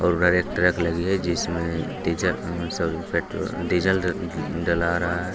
और ट्रक लगी है जिसमें डीजल सॉरी पेट्रोल डीजल डाला रहा है।